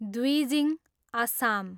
Dwijing, Assam